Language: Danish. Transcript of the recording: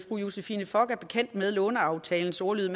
fru josephine fock er bekendt med låneaftalens ordlyd